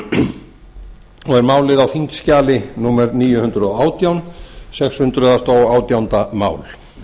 og er málið á þingskjali níu hundruð og átján sex hundruð og átjándu mál